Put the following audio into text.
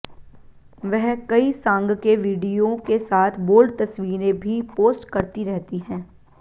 वह कई सांग के वीडियो के साथ बोल्ड तस्वीरें भी पोस्ट करती रहती हैं